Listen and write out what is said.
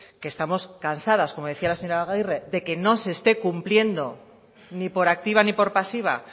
que estamos cansadas como decía la señora agirre de que no se esté cumpliendo ni por activa ni por pasiva